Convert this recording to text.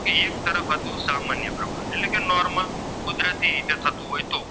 કુદરતી રીતે થતું હોય તો